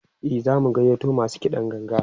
e zamu gayyato masu kiɗan ganga